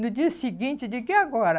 No dia seguinte, eu digo, e agora?